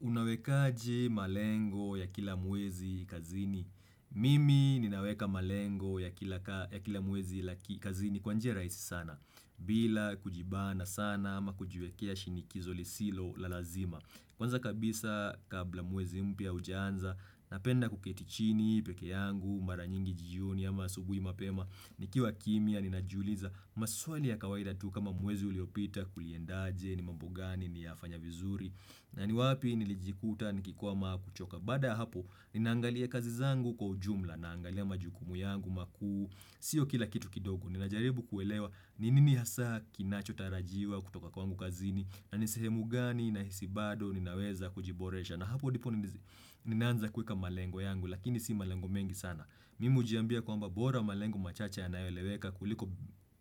Unawekaji malengo ya kila mwezi kazini? Mimi ninaweka malengo ya kila mwezi la kazini kwa njia rahisi sana. Bila kujibana sana ama kujiwekea shinikizo lisilo la lazima. Kwanza kabisa kabla mwezi mpya hujaanza napenda kuketi chini pekee yangu mara nyingi jioni ama asubui mapema nikiwa kimya ninajiuliza maswali ya kawaida tu kama mwezi uliopita kuliendaje ni mambo gani niliyafanya vizuri na ni wapi nilijikuta nikikwama au kuchoka. Bada hapo ninaangalia kazi zangu kwa ujumla naangalia majukumu yangu makuu Sio kila kitu kidogo ninajaribu kuelewa ni nini hasa kinachotarajiwa kutoka kwangu kazini na nisehemu gani nahisi bado ninaweza kujiboresha na hapo ndipo ninaanza kuweka malengo yangu Lakini si malengo mengi sana Mimi hujiambia kwamba bora malengo machache yanayoeleweka kuliko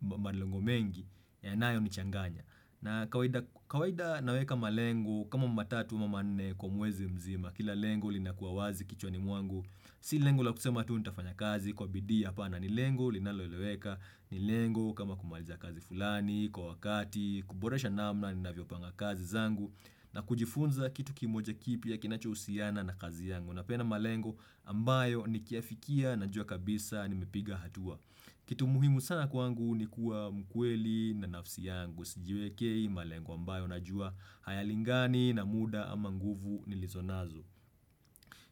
malengo mengi yanayo nichanganya na kawaida naweka malengo kama tatu ama nne kwa mwezi mzima Kila lengo linakuwa wazi kichwani mwangu Si lengo la kusema tu nitafanya kazi kwa bidii apana ni lengo linaloeleweka ni lengo kama kumaliza kazi fulani kwa wakati kuboresha namna ninavyopanga kazi zangu na kujifunza kitu kimoja kipya kinachohusiana na kazi yangu napeana malengo ambayo nikiafikia najua kabisa nimepiga hatua kitu muhimu sana kwangu ni kuwa mkweli na nafsi yangu sijiwekei malengo ambayo na najua hayalingani na muda ama nguvu nilizonazo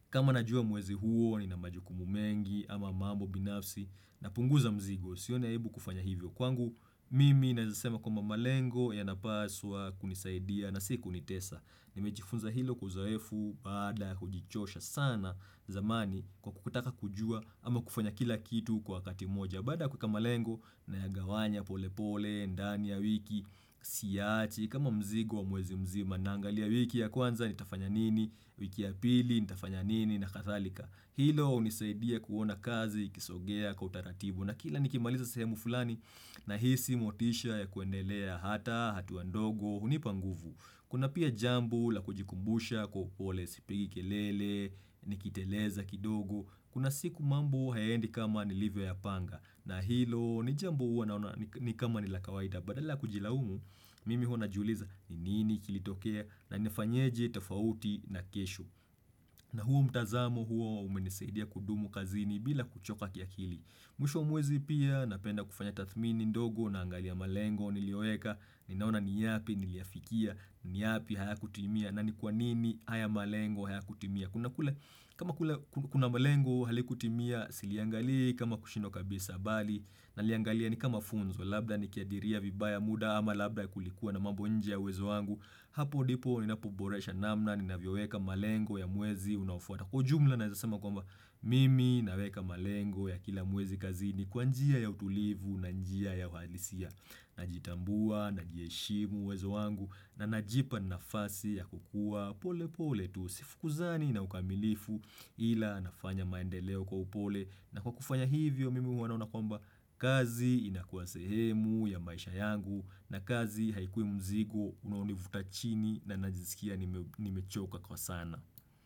kama najua mwezi huo nina majukumu mengi ama mambo binafsi napunguza mzigo Sioni aibu kufanya hivyo kwangu, mimi naeza sema kwamba malengo yanapaswa kunisaidia na sikunitesa Nimejifunza hilo kwa uzoefu bada kujichosha sana zamani kwa kutaka kujua ama kufanya kila kitu kwa wakati mmoja Bada kueka malengo nayagawanya pole pole, ndani ya wiki, siyaachi, kama mzigo wa mwezi mzima Naangalia wiki ya kwanza nitafanya nini, wiki ya pili ni tafanya nini na kadhalika Hilo hunisaidia kuona kazi, ikisogea, kwa utaratibu na kila nikimaliza sehemu fulani na hisi motisha ya kuendelea hata, hatuwa ndogo, hunipa nguvu. Kuna pia jambo la kujikumbusha kwa upole sipigi kelele, nikiteleza kidogo, kuna siku mambo hayaendi kama nilivyoyapanga. Na hilo ni jambo huwa naona ni kama ni la kawaida. Badala kujilaumu, mimi huwa najiuliza ni nini kilitokea na nifanyaje tafauti na kesho na huo mtazamo huo umenisaidia kudumu kazini bila kuchoka kiakili Mwisho wa mwezi pia napenda kufanya tathmini ndogo naangalia malengo nilioweka Ninaona niyapi, niliafikia, niyapi hayakutimia na ni kwa nini haya malengo hayakutimia kama kuna malengo halikutimia, siliangali kama kushindwa kabisa bali Naliangalia ni kama funzo, labda ni kiadiria vibaya muda ama labda ya kulikuwa na mambo ya uwezo wangu Hapo ndipo ninapoboresha namna ninavyoweka malengo ya mwezi unaofwata. Kwa ujumla naeza sema kwamba, mimi naweka malengo ya kila mwezi kazini Kwa njia ya utulivu na njia ya uhalisia Najitambua, najiheshimu uwezo wangu na najipa nafasi ya kukua pole pole tu Sifukuzani na ukamilifu ila nafanya maendeleo kwa upole na kwa kufanya hivyo mimi huwa naona kwamba kazi inakuwa sehemu ya maisha yangu na kazi haikuwi mzigo unanivutachini na najisikia nimechoka kwa sana.